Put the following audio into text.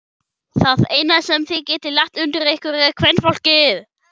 Það eina sem þið getið lagt undir ykkur er kvenfólkið!